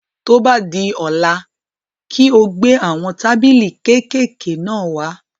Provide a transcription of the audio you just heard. Tó bá di ọ̀la, kí o gbé àwọn tábìlì kékèké náà wá.